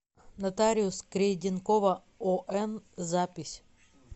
нотариус крейденкова он запись